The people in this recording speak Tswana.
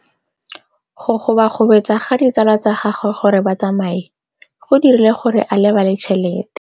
Go gobagobetsa ga ditsala tsa gagwe, gore ba tsamaye go dirile gore a lebale tšhelete.